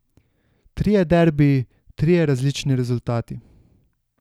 Trije derbiji, trije različni rezultati.